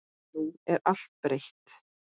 Nú er allt breytt.